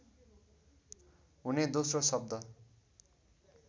हुने दोस्रो शब्द